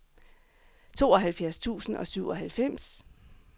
tooghalvfjerds tusind og syvoghalvfems